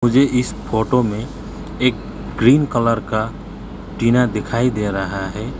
मुझे इस फोटो में एक ग्रीन कलर का टीना दिखाई दे रहा है।